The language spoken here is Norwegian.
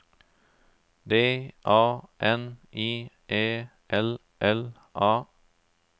D A N I E L L A